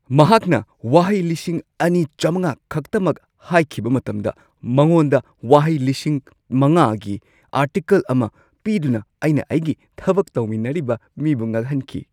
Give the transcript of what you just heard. ꯃꯍꯥꯛꯅ ꯋꯥꯍꯩ ꯲,꯵꯰꯰ ꯈꯛꯇꯃꯛ ꯍꯥꯏꯈꯤꯕ ꯃꯇꯝꯗ ꯃꯉꯣꯟꯗ ꯋꯥꯍꯩ ꯵,꯰꯰꯰ꯒꯤ ꯑꯥꯔꯇꯤꯀꯜ ꯑꯃ ꯄꯤꯗꯨꯅ ꯑꯩꯅ ꯑꯩꯒꯤ ꯊꯕꯛ ꯇꯧꯃꯤꯟꯅꯔꯤꯕ ꯃꯤꯕꯨ ꯉꯛꯍꯟꯈꯤ꯫